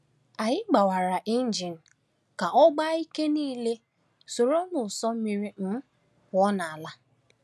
Anyị gbawara injin ka ọ gbaa ike niile, soro n’ụsọ mmiri um pụọ n’ala.